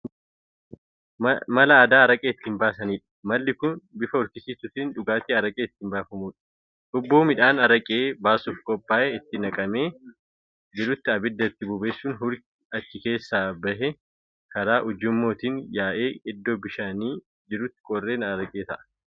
Mal aadaa araqee ittiin baasaniidha. malli Kuni bifa hurkisiisuutiin dhugaatiin araqee ittiin baafamuudha. hubboo midhaan araqee baasuuf qophaa'e itti naqamee jirutti abidda itti bobeessuun hurki achi keessaa bahi karaa ujummootiin yaa'ee iddoo bishaan jirutti qorree araqee ta'an.